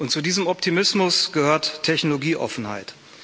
Zu diesem Optimismus gehört Technologieoffenheit.